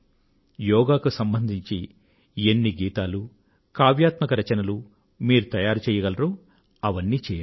యోగా కు సంబంధించి ఎన్ని గీతాలు కావ్యాత్మక రచనలు మీరు తయారు చెయ్యగలరో చెయ్యండి